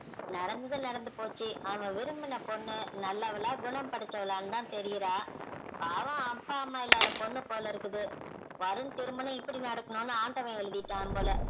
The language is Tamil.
நடந்தது நடந்து போச்சு அவன் விரும்பின பொண்ணு நல்லவளா, குணம்படைச்சவளாவும் தான் தெரியிறா பாவும் அப்பா அம்மா இல்லாத பொண்ணு போலிருக்குது வருண் திருமணம் இப்படி நடக்கணும்னு ஆண்டவன் எழுதிட்டான் போல